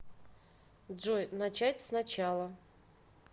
джой начать с начала